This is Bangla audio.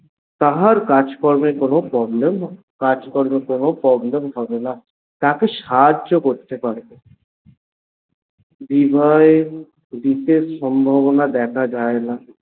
তাহার কাজকর্মে কোনো problem তাহার কাজকর্মে কোনো problem হবেনা তাকে সাহায্য করতে পারে বিদায় দিকে সম্ভাবনা দেখা যায়না।